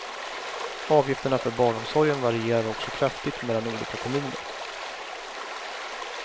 Avgifterna för barnomsorgen varierar också kraftigt mellan olika kommuner.